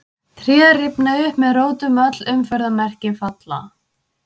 Tré rifna upp með rótum, öll umferðarmerki falla.